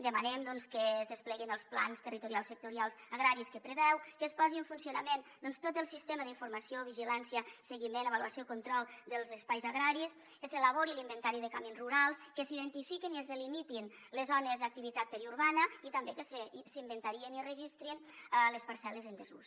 demanem doncs que es despleguin els plans territorials sectorials agraris que preveu que es posi en funcionament tot el sistema d’informació vigilància seguiment avaluació control dels espais agraris que s’elabori l’inventari de camins rurals que s’identifiquin i es delimitin les zones d’activitat periurbana i també que s’inventariïn i registrin les parcel·les en desús